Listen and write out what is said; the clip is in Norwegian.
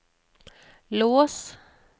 lås